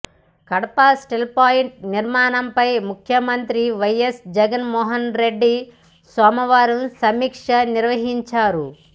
Kadapa steel plant నిర్మాణంపై ముఖ్యమంత్రి YS Jaganmohan Reddy సోమవారం సమీక్ష నిర్వహించారు